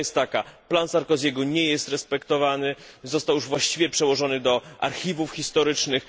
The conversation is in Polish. Prawda jest taka plan Sarkoziego nie jest respektowany, został już właściwie przełożony do archiwów historycznych.